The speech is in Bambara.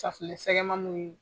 sɛgɛmaninw ye.